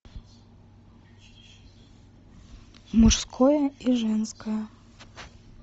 мужское и женское